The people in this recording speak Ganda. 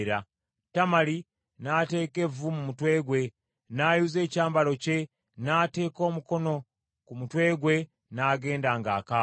Tamali n’ateeka evvu mu mutwe gwe, n’ayuza ekyambalo kye, n’ateeka omukono ku mutwe gwe n’agenda ng’akaaba.